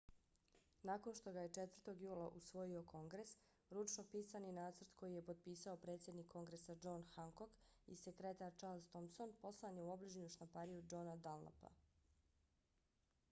nakon što ga je 4. jula usvojio kongres ručno pisani nacrt koji je potpisao predsjednik kongresa john hancock i sekretar charles thomson poslan je u obližnju štampariju johna dunlapa